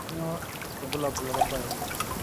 kanyio irbulabul lorbae